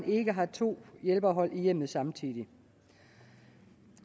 ikke har to hjælperhold i hjemmet samtidig